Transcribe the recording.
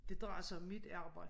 Det drejer sig om mit arbejde